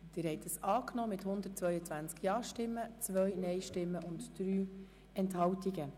Sie haben diesen Verpflichtungskredit angenommen mit 122 Ja- gegen 2 Nein-Stimmen bei 3 Enthaltungen.